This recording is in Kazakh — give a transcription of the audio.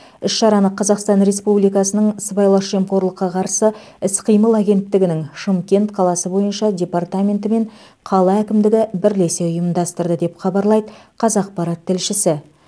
іс шараны қазақстан республикасының сыбайлас жемқорлыққа қарсы іс қимыл агенттігінің шымкент қаласы бойынша департаменті мен қала әкімдігі бірлесе ұйымдастырды деп хабарлайды қазақпарат тілшісі